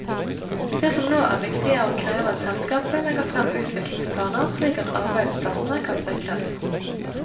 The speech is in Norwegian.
Det som nå er viktig er å kreve at selskapet legger frem utviklingsplaner slik at arbeidsplassene kan sikres.